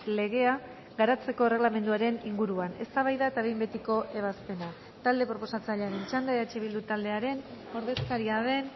legea garatzeko erregelamenduaren inguruan eztabaida eta behin betiko ebazpena talde proposatzailearen txanda eh bildu taldearen ordezkaria den